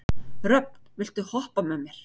Röfn, viltu hoppa með mér?